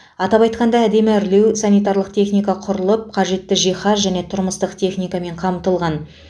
атап айтқанда әдемі әрлеу санитарлық техника құрылып қажетті жиһаз және тұрмыстық техникамен қамтылған